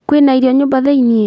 Kwĩna irio nyũmba thĩiniĩ